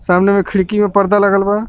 सामने में खिड़की अ पर्दा लागल बा.